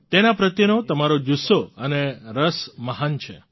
તેના પ્રત્યેનો તમારો જુસ્સો અને રસ મહાન છે